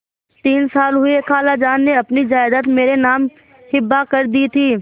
तीन साल हुए खालाजान ने अपनी जायदाद मेरे नाम हिब्बा कर दी थी